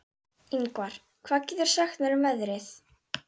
Yngvar, hvað geturðu sagt mér um veðrið?